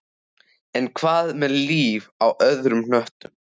En hvað með líf á öðrum hnöttum?